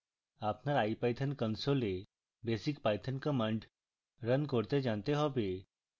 আপনার ipython console basic python commands run করতে জানতে হবে